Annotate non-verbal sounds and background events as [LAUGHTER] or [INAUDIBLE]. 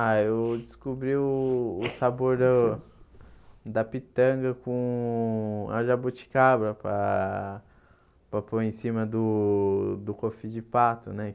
Ah, eu descobri o o [UNINTELLIGIBLE] sabor do da pitanga com a jabuticaba para para pôr em cima do do cofi de pato, né?